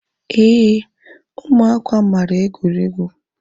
Éè ụmụaka mara egwuregwu